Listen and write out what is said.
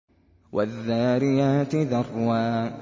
وَالذَّارِيَاتِ ذَرْوًا